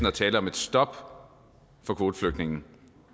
at tale om et stop for kvoteflygtninge